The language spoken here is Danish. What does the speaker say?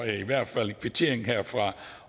er i hvert fald en kvittering herfra